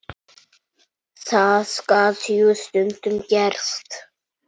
Það gat jú stundum gerst!